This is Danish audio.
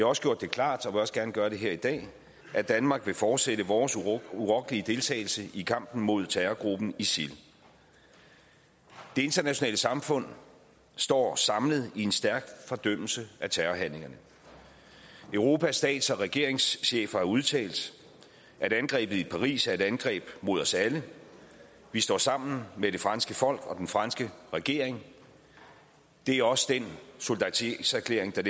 også gjort det klart og vil også gerne gøre det her i dag at danmark vil fortsætte vores urokkelige deltagelse i kampen mod terrorgruppen isil det internationale samfund står samlet i en stærk fordømmelse af terrorhandlingerne europas stats og regeringschefer har udtalt at angrebet i paris er et angreb mod os alle vi står sammen med det franske folk og den franske regering det er også den solidaritetserklæring der